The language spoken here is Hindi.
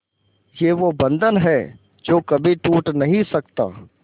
ये वो बंधन है जो कभी टूट नही सकता